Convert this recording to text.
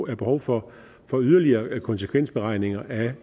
er behov for for yderligere konsekvensberegninger af